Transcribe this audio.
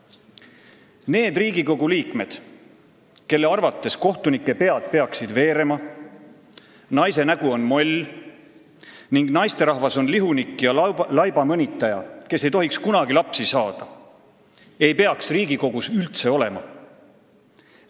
Need Riigikogu liikmed, kelle arvates kohtunike pead peaksid veerema, naise nägu on moll ning naisterahvas on lihunik ja laiba mõnitaja, kes ei tohiks kunagi lapsi saada, ei tohiks Riigikogus üldse olla.